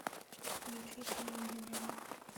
включи фильм единорог